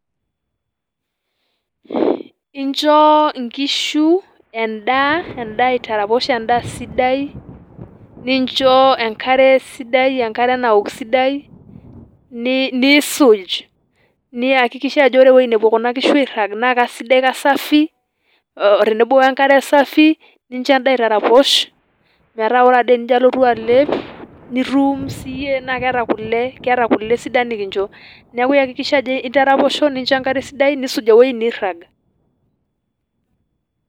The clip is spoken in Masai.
Incho inkishu endaa, endaa aitaraposh endaa sidai, nincho enkare sidai, enkare nawok sidai, niisuj, niyakikisha ajo ore ewueji nepuo kuna kishu airrag naa kasidai kasafi, otenebo wenkare safi, nincho endaa aitaraposh, metaa ore ade tenijo alotu nitum siiyie, naa keeta kule, keeta kule sidan nikincho. Neeku iyakikisha ajo intaraposho, nincho enkare, niisuj ewueji neirrag.